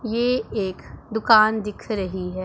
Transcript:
ये एक दुकान दिख रही है।